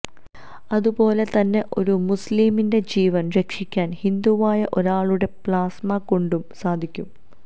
അതു പോലെ തന്നെ ഒരു മുസ്ലിമിന്റെ ജീവൻ രക്ഷിക്കാൻ ഹിന്ദുവായ ഒരാളുടെ പ്ലാസ്മ കൊണ്ടും സാധിക്കും